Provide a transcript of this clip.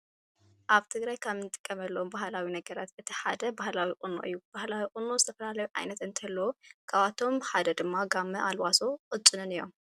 ኣብ ትግራይ ካብ እንጥቀመሎም ባህላዊ ነገራት እቲ ሓደ ባህላዊ ቁኖ እዩ። ባህላዊ ቁኖ ዝተፈላለዩ ዓይነታት እንትህልዎ ካብኣቶም ድማ ጋመ፣ አልባሶ ቅጭንን እዮም።